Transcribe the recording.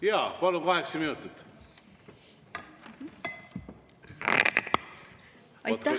Jaa, palun, kaheksa minutit.